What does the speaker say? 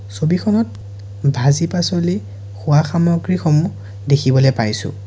ছবিখনত ভাজি পাছলি খোৱা সামগ্ৰী সমূহ দেখিবলৈ পাইছোঁ।